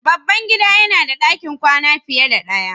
Babban gida yana da ɗakin kwana fiye da ɗaya.